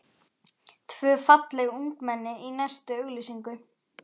Tvö falleg ungmenni í næstu auglýsingu.